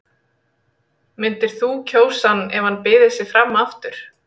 Myndir þú kjósa hann ef hann byði sig fram aftur?